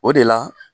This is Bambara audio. O de la